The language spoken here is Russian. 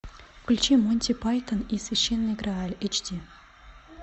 включи монти пайтон и священный грааль эйч ди